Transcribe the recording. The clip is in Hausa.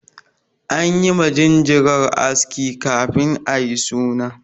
An yi ma jinjirar aski kafin ayi suna.